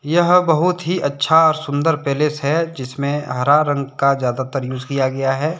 यह बहुत ही अच्छा सुंदर पैलेस है जिसमें हरा रंग का ज्यादातर यूज किया गया है।